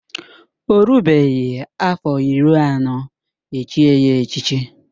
Ọ rubeghị afọ iri anọ echié ya echichi